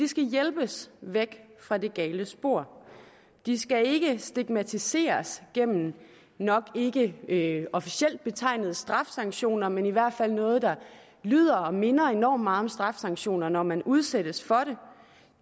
skal hjælpes væk fra det gale spor de skal ikke stigmatiseres gennem nok ikke ikke officielt betegnede straffesanktioner men i hvert fald noget der lyder og minder enormt meget om straffesanktioner når man udsættes for